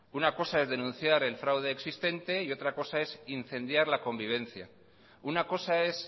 una cosa es denunciar el fraude existente y otra cosa es incendiar la convivencia una cosa es